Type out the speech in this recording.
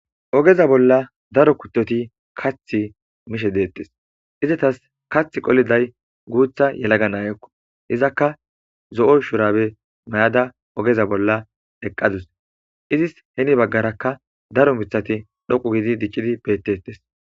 Ogeza bolla daro kuttoti kath mishe deettes izatas kath qoliday guutha yelaga naayokko izakka zo'o shurabe may'ada ogeza bolla eqqadus izis heni baggarakka daro mithati dhoqu gidi diccidi bettettes.